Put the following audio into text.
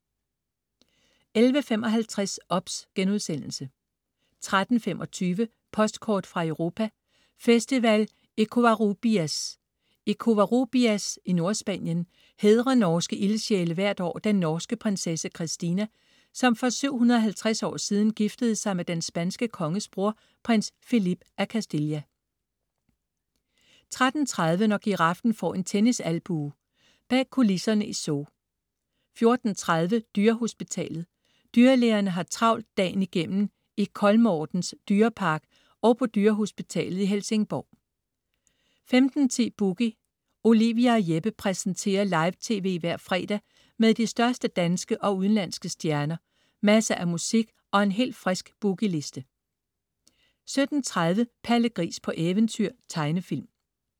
11.55 OBS* 13.25 Postkort fra Europa: Festival i Covarrubias. I Covarrubias i Nordspanien hædrer norske ildsjæle hvert år den norske prinsesse Kristina, som for 750 år siden giftede sig med den spanske konges bror, prins Felipe af Castilla 13.30 Når giraffen får en tennisalbue. Bag kulisserne i zoo 14.30 Dyrehospitalet. Dyrlægerne har travlt dagen igennem i Kolmårdens dyrepark og på dyrehospitalet i Helsingborg 15.10 Boogie. Olivia og Jeppe præsenterer live tv hver fredag med de største danske og udenlandske stjerner, masser af musik og en helt frisk Boogie Liste 17.30 Palle Gris på eventyr. Tegnefilm